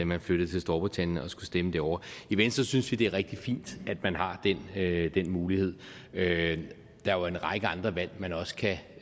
man flyttede til storbritannien og skulle stemme derovre i venstre synes vi det er rigtig fint at man har den mulighed der er jo en række andre valg men også kan